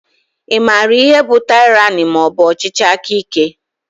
I maara ihe bụ tyrani maọbu ọchịchị aka ike?